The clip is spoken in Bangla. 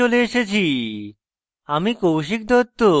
আমরা tutorial শেষে চলে এসেছি